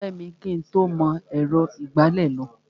O pẹ́ mi kí ń tó mọ ẹ̀rọ ìgbálẹ̀ lò.